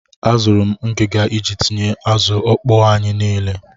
Azụrụ m ngiga iji tinye azụ ọkpọọ anyi niile.